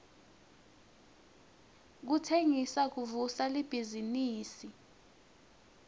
kutsengisa kuvusa libhizinifi